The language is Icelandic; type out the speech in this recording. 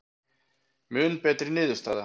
Mun betri niðurstaða